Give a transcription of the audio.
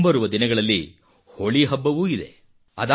ಮುಂಬರುವ ದಿನಗಳಲ್ಲಿ ಹೋಳಿ ಹಬ್ಬವೂ ಇದೆ